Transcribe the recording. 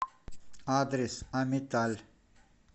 адрес амиталь